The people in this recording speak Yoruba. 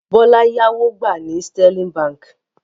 Bọ́lá ìyàwó gbà ní Sterling Báńkì.